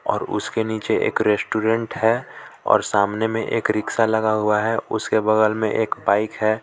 और उसके नीचे एक रेस्टोरेंट है और सामने में एक रिक्शा लगा हुआ है उसके बगल में एक बाइक है।